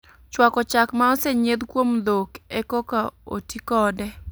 Chwako chak ma osenyieth kuom dhok e koka o ti kode